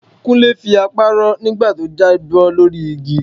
Kúnlé fi apá rọ́ nígbà tó jábọ́ lórí igi